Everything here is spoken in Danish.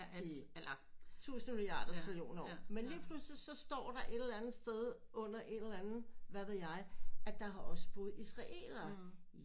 I tusinde miliarder trillioner af år men lige pludselig så står der et eller andet sted under en eller anden hvad ved jeg at der også har boet israelere